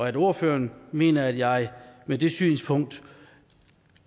at ordføreren mener at jeg med det synspunkt